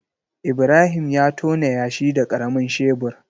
Ibrahim ya tona yashi da karamin shebur.